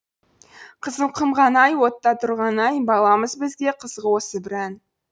қызыл құмған ай отта тұрған ай баламыз бізге қызық осы бір ән